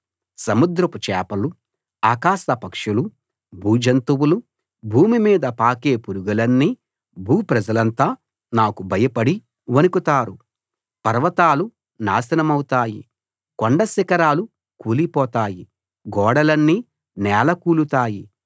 సముద్రపు చేపలు ఆకాశపక్షులు భూజంతువులు భూమిమీద పాకే పురుగులన్నీ భూప్రజలంతా నాకు భయపడి వణుకుతారు పర్వతాలు నాశనమౌతాయి కొండ శిఖరాలు కూలిపోతాయి గోడలన్నీ నేలకూలుతాయి